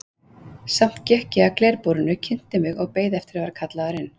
Samt gekk ég að glerbúrinu, kynnti mig og beið eftir að vera kallaður inn.